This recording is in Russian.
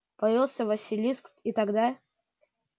появится василиск и тогда